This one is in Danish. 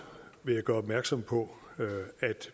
vil jeg gøre opmærksom på at